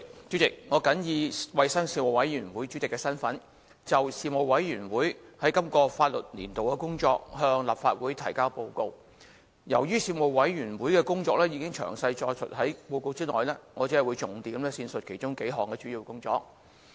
主席，我謹以衞生事務委員會主席的身份，就事務委員會在今個立法年度的工作，向立法會提交報告。由於事務委員會的工作已詳細載述在報告內，我只會重點闡述其中幾項主要工作。